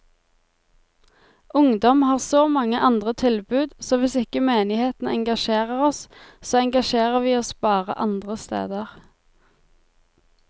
Ungdom har så mange andre tilbud, så hvis ikke menigheten engasjerer oss, så engasjerer vi oss bare andre steder.